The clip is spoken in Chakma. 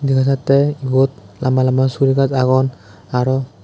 dega jate egot lamba lamba suguri gaj agon aro.